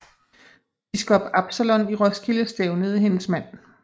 Biskop Absalon i Roskilde stævnede hendes mand